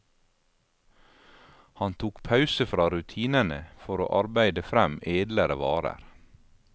Han tok pause fra rutinene for å arbeide frem edlere varer.